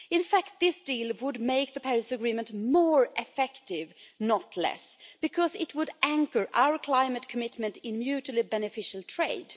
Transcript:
In fact, this deal would make the Paris Agreement more effective, not less, because it would anchor our climate commitment in mutually beneficial trade.